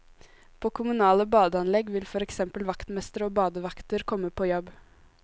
På kommunale badeanlegg vil for eksempel vaktmestre og badevakter komme på jobb.